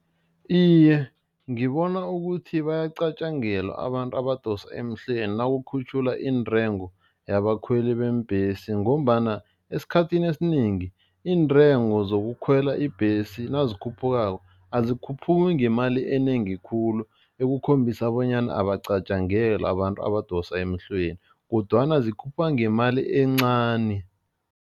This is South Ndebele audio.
Iye, ngibona ukuthi bayacatjangelwa abantu abadosa emhlweni nakukhutjhulwa intengo yabakhweli beembhesi ngombana esikhathini esinengi iintengo zokukhwela ibhesi nazikhuphukako, azikhuphuki ngemali enengi khulu ekukhombisa bonyana abacatjangelwa abantu abadosa emhlweni kodwana zikhuphuka ngemali encani.